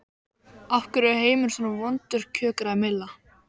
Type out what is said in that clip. Af hverju er heimurinn svona vondur kjökraði Milla.